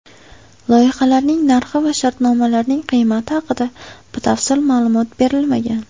Loyihalarning narxi va shartnomalarning qiymati haqida batafsil ma’lumot berilmagan.